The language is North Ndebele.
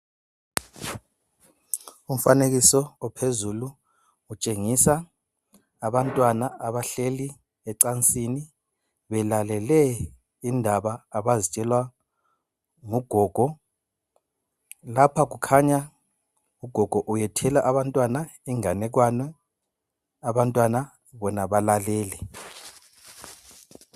Umfanekiso ophezulu utshengisa abantwana abahleli ecansini belalele indaba abazitshelwa ngugogo. Lapha kukhanya ugogo uyethela abantwana inganekwane, abantwana bona balalele.